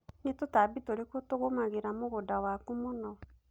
nĩ tũtambi tũrĩkũ tũngũmangĩra mũgũnda waku mũno